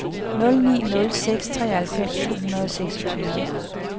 nul ni nul seks treoghalvfems to hundrede og seksogtyve